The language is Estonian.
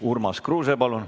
Oi, milline rõõm!